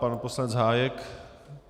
Pan poslanec Hájek?